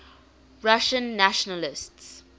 russian nationalists